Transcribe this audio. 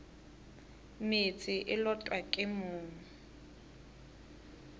meetse e lotwa ke mong